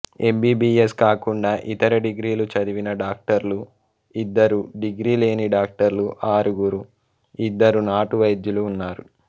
MBBS కాకుండా ఇతర డిగ్రీలు చదివిన డాక్టర్లు ఇద్దరు డిగ్రీ లేని డాక్టర్లు ఆరుగురు ఇద్దరు నాటు వైద్యులు ఉన్నారు